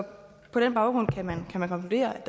på den baggrund kan man konkludere